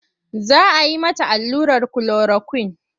Za a yi mata allurar kulorakwin.